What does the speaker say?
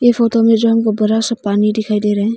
ये फोटो में जो हमको बड़ा सा पानी दिखाई दे रहा है।